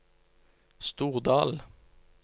Stordal